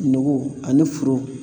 Nɔgɔ ani furu ?]